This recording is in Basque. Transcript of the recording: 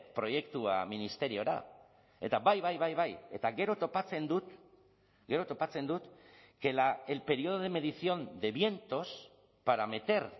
proiektua ministeriora eta bai bai bai bai eta gero topatzen dut gero topatzen dut que el periodo de medición de vientos para meter